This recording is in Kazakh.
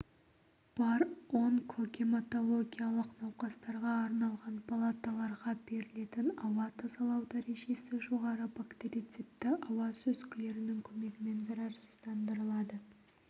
бар онкогематологиялық науқастарға арналған палаталарға берілетін ауа тазалау дәрежесі жоғары бактерицидті ауа сүзгілерінің көмегімен зарарсыздандырылады